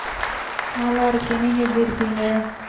நல்லா இருக்கேன் நீங்க எப்படி இருக்கீங்க